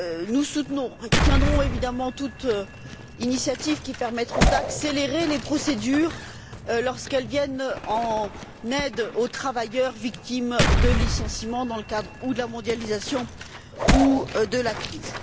Nous soutiendrons évidemment toutes les initiatives qui permettront d'accélérer les procédures lorsqu'elles viennent en aide aux travailleurs victimes de licenciements dans le cadre ou de la mondialisation ou de la crise.